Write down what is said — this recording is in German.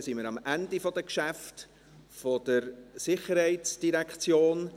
Damit sind wir am Ende der Geschäfte der SID angelangt.